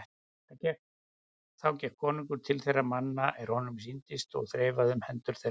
Þá gekk konungur til þeirra manna er honum sýndist og þreifaði um hendur þeim.